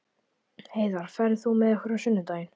Heiðar, ferð þú með okkur á sunnudaginn?